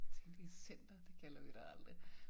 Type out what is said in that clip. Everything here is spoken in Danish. Jeg tænkte i center det kalder vi det aldrig